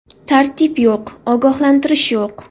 Tartib yo‘q, ogohlantirish yo‘q.